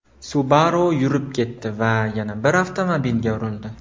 Subaru yurib ketdi va yana bir avtomobilga urildi.